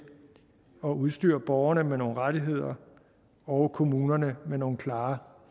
at udstyre borgerne med nogle rettigheder og kommunerne med nogle klare